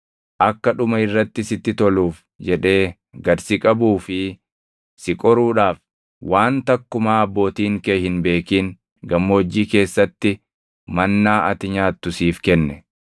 Akka dhuma irratti sitti toluuf jedhee gad si qabuu fi si qoruudhaaf, waan takkumaa abbootiin kee hin beekin gammoojjii keessatti “mannaa” ati nyaattu siif kenne.